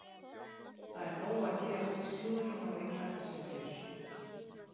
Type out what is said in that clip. Það er nóg að gerast í slúðrinu á Englandi sem fyrr.